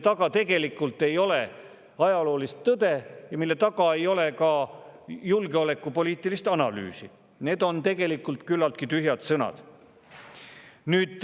Tegelikult ei ole nende taga ajaloolist tõde ega ka julgeolekupoliitilist analüüsi, need on küllaltki tühjad sõnad.